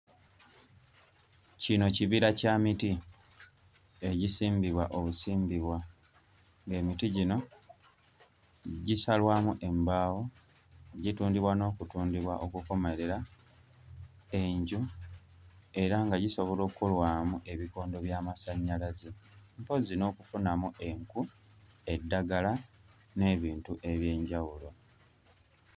Kino kibira kya miti egisimbibwa obusimbibwa, ng'emiti gino gisalwamu embaawo, gitundibwa n'okutundibwa okukomerera enju era nga gisobola okkolwamu ebikondo by'amasannyalaze, mpozzi n'okufunamu enku, eddagala n'ebintu eby'enjawulo.